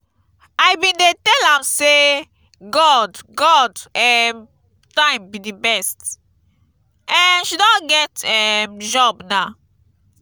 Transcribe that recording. i bin dey tell am say god god um time be the best. um she don get um job now.